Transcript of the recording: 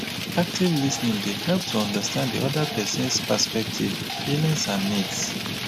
active lis ten ing dey help to understand di oda person's perspective feelings and needs.